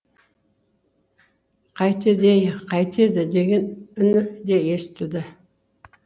қайтеді ей қайтеді деген үні де естілді